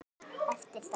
Eftir dag.